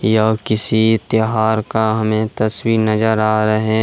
यह किसी त्यौहार का हमें तस्वीर नजर आ रहें--